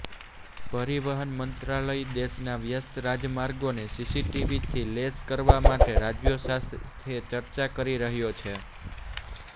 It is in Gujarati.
પરિવહન મંત્રાલય દેશના વ્યસ્ત રાજમાર્ગોને સીસીટીવીથી લેસ કરવા માટે રાજ્યો સાથે ચર્ચા કરી રહ્યો છે